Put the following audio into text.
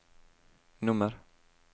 nummer